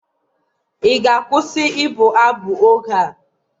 ị ga-akwụsị ịbụ abụ oge a!